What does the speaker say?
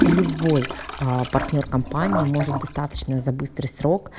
и любой а партнёр компании может достаточно за быстрый срок